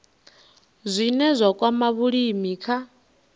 zwine zwa kwama vhulimi kha